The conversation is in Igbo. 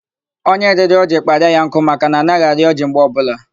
Onye rịrị ọjị kpara ya nkụ maka na anaghị arị ọjị mgbe ọbụla.